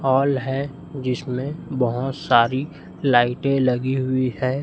Hall है जिसमें बहोत सारी लाइटें लगी हुई हैं।